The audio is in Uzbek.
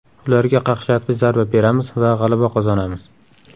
Ularga qaqshatqich zarba beramiz va g‘alaba qozonamiz”.